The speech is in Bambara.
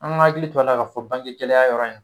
An ka hakili to a la ka fɔ bange gɛlɛya yɔrɔ in